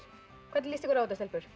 hvernig líst ykkur á þetta stelpur